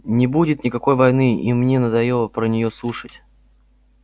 не будет никакой войны и мне надоело про неё слушать